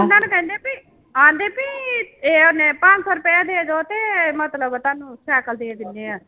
ਪੂਨਾ ਨੂੰ ਕਹਿੰਦੇ ਵੀ ਕਹਿੰਦੇ ਵੀ ਇਹ ਨੇ ਪੰਜ ਸੌ ਰੁਪਇਆ ਦੇ ਦਓ ਤੇ ਮਤਲਬ ਤੁਹਾਨੂੰ ਸਾਇਕਲ ਦੇ ਦਿੰਦੇ ਹਾਂ।